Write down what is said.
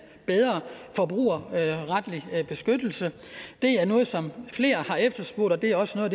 bedre forbrugerretlig beskyttelse det er noget som flere har efterspurgt og det er også noget